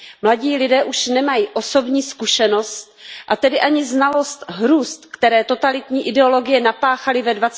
Mladí lidé už nemají osobní zkušenost a tedy ani znalost hrůz, které totalitní ideologie napáchaly ve